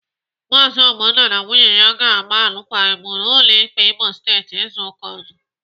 Maazi Ogbonna na nwunye ya ga-agba alụkwaghịm n'ụlọ ikpe Imo Steeti izu ụka ọzọ.